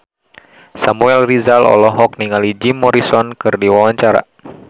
Samuel Rizal olohok ningali Jim Morrison keur diwawancara